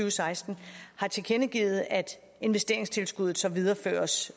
og seksten har tilkendegivet at investeringstilskuddet så videreføres